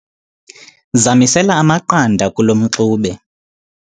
zamisela amaqanda kulo mxube